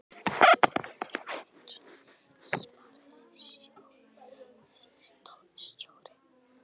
Guðmundur Guðmundsson sparisjóðsstjóri, skólastjóri og höfðingi